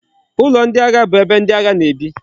Ulo ndi agha bu ebe ndi agha na ebi